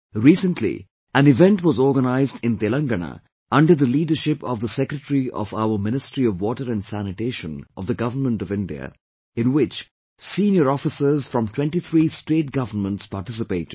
Recently, an event was organised in Telengana under the leadership of the Secretary of our Ministry of Water and Sanitation of the Government of India, in which senior officers from 23 state governments participated